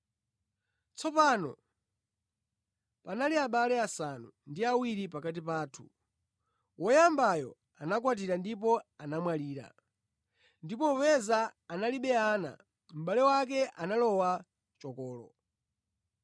Tsopano panali abale asanu ndi awiri pakati pathu. Woyambayo anakwatira ndipo anamwalira, ndipo popeza analibe ana, mʼbale wake analowa chokolo.